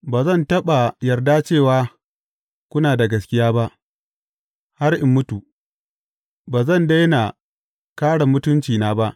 Ba zan taɓa yarda cewa kuna da gaskiya ba; har in mutu, ba zan daina kāre mutuncina ba.